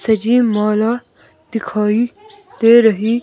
सजीव मौला दिखाई दे रही--